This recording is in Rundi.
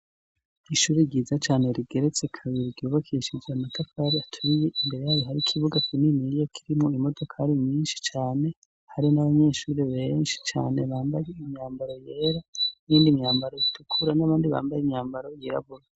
Ishuri ryiza cane rigeretse kabiri ryubakishije amatafari aturiye, imbere yaryo hari ikibuga kininiya kirimwo imodoka nyinshi cane, hari n'abanyeshuri benshi cane bambaye imyambaro yera n'iyindi myambaro itukura n'abandi bambaye imyambaro yirabura.